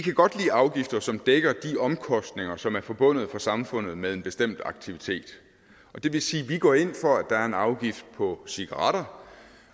afgifter som dækker de omkostninger som er forbundet for samfundet med en bestemt aktivitet og det vil sige at vi går ind for at der er en afgift på cigaretter